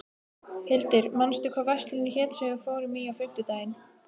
Hildir, manstu hvað verslunin hét sem við fórum í á fimmtudaginn?